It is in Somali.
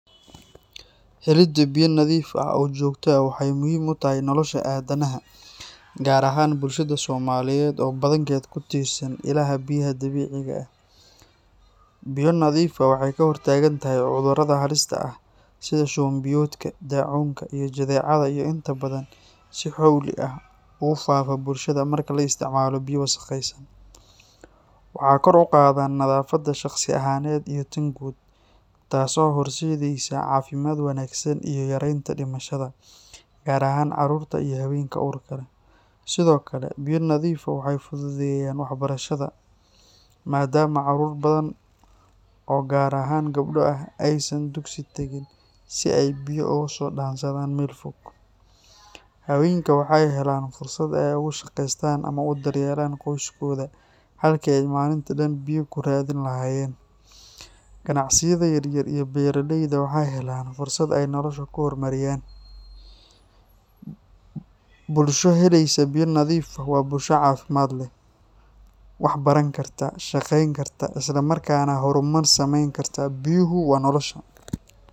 Helida biyo nadiif ah oo joogto ah waxay muhiim u tahay nolosha aadanaha, gaar ahaan bulshada Soomaaliyeed oo badankeed ku tiirsan ilaha biyaha dabiiciga ah. Biyo nadiif ah waxay ka hortagaan cudurrada halista ah sida shuban biyoodka, daacuunka, iyo jadeecada oo inta badan si xawli ah ugu faafa bulshada marka la isticmaalo biyo wasakhaysan. Waxay kor u qaaddaan nadaafadda shakhsi ahaaneed iyo tan guud, taasoo horseedaysa caafimaad wanaagsan iyo yareynta dhimashada, gaar ahaan carruurta iyo haweenka uurka leh. Sidoo kale, biyo nadiif ah waxay fududeeyaan waxbarashada, maadaama carruur badan oo gaar ahaan gabdho ah aysan dugsiga tagin si ay biyo uga soo dhaansadaan meel fog. Haweenka waxay helaan fursad ay ugu shaqeystaan ama u daryeelaan qoysaskooda halkii ay maalintii dhan biyo ku raadin lahaayeen. Ganacsiyada yaryar iyo beeraleyda waxay helaan fursad ay noloshooda ku horumariyaan. Bulsho helaysa biyo nadiif ah waa bulsho caafimaad leh, waxbaran karta, shaqayn karta, isla markaana horumar samayn karta. Biyuhu waa nolosha.